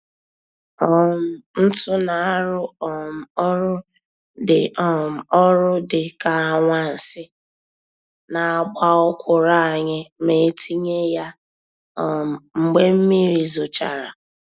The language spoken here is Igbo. um Ntu na-arụ um ọrụ dị um ọrụ dị ka anwansi n'àgbà ọkwụrụ anyị ma-etinye ya um mgbe mmiri zochara.